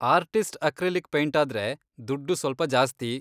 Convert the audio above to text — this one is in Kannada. ಆರ್ಟಿಸ್ಟ್ ಅಕ್ರಿಲಿಕ್ ಪೈಂಟಾದ್ರೆ ದುಡ್ಡು ಸ್ವಲ್ಪ ಜಾಸ್ತಿ.